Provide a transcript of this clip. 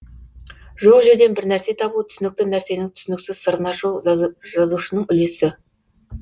жоқ жерден бірнәрсе табу түсінікті нәрсенің түсініксіз сырын ашу жазушының үлесі